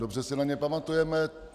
Dobře si na ně pamatujeme.